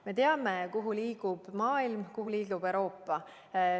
Me teame, kuhu liigub maailm ja kuhu liigub Euroopa.